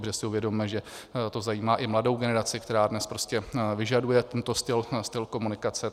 Protože si uvědomme, že to zajímá i mladou generaci, která dnes prostě vyžaduje tento styl komunikace.